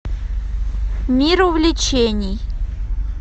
мир увлечений